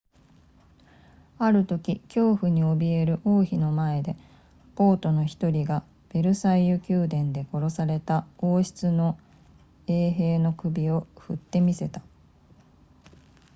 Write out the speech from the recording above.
あるとき恐怖に怯える王妃の前で暴徒の1人がヴェルサイユ宮殿で殺された王室の衛兵の首を振って見せた